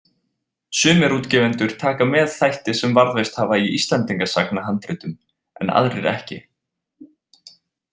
Sumir útgefendur taka með þætti sem varðveist hafa í Íslendingasagnahandritum en aðrir ekki.